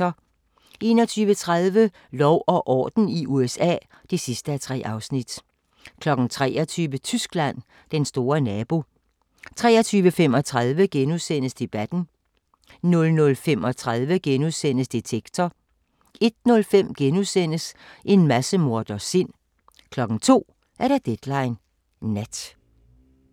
21:30: Lov og orden i USA (3:3) 23:00: Tyskland: Den store nabo 23:35: Debatten * 00:35: Detektor * 01:05: En massemorders sind * 02:00: Deadline Nat